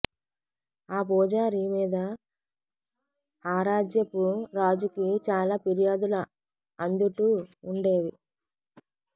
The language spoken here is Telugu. ఆ పూజారి మీద ఆరాజ్యపు రాజుకి చాలా పిర్యాదులు అందుటూ ఉండేవి